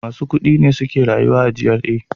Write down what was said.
Masu kudi ne suke rayuwa a GRA.